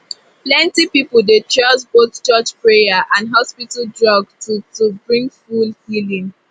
plenty people dey trust both church prayer and hospital drug to to bring full healing